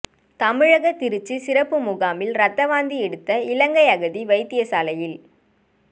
தமிழக திருச்சி சிறப்புமுகாமில் இரத்த வாந்தி எடுத்த இலங்கை அகதி வைத்தியசாலையில்